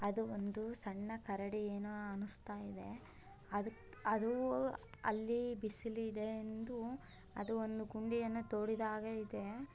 ಅದು ಒಂದು ಸಣ್ಣ ಕರಡಿ ಏನೋ ಅನಿಸ್ತಾ ಇದೆ ಅದು ಅದು ಅಲ್ಲಿ ಬಿಸಿಲಿದೆ ಎಂದು ಅದು ಒಂದು ಗುಂಡಿಯನ್ನು ತೋಡಿದ ಹಾಗಿದೆ .